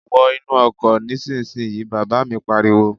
Wo inú ọkọ̀ nísinsìnyí, bàbá mi pariwo